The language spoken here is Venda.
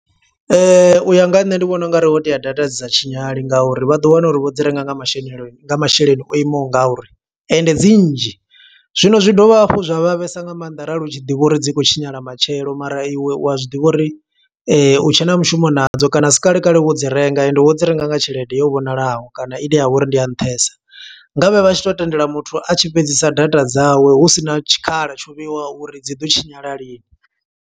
U ya nga ha nṋe ndi vhona ungari ho tea data dzi sa tshinyala nga uri vha ḓo wana uri vho dzi renga nga masheneloini, nga masheleni o imaho nga uri, ende dzi nnzhi. Zwino zwi dovha hafhu zwa vhavhesa nga maanḓa arali u tshi ḓivha uri dzi khou tshinyala matshelo, mara iwe u a zwi ḓivha uri u tshe na mushumo nadzo. Kana asi kalekale wo dzi renga ende wo dzi renga nga tshelede yo vhonalaho, kana i ne ya vha uri ndi ya nṱhesa. Ngavhe vha tshi to tendela muthu a tshi fhedzisa data dzawe, husina tshikhala tsho vheiwa uri dzi ḓo tshinyala lini.